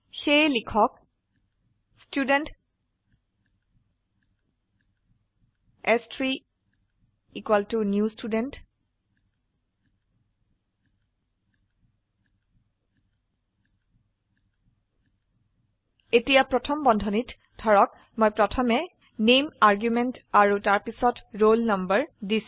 সেয়ে লিখক student s3 new Student এতিয়া প্ৰথম বন্ধনীত ধৰক মই প্ৰথমে নামে আৰ্গুমেন্ট আৰু তাৰপিছত ৰোল নাম্বাৰ দিছো